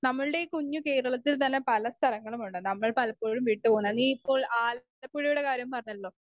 Speaker 1 നമ്മളുടെ ഈ കുഞ്ഞു കേരളത്തിൽ തന്നെ പല സ്ഥലങ്ങളുമുണ്ട്. നമ്മൾ പലപ്പോഴും വിട്ടു പോന്ന നീ ഇപ്പോൾ ആലപ്പുഴയുടെ കാര്യം പറഞ്ഞല്ലോ.